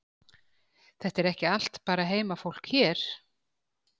Þetta er ekki bara allt heimafólk hér?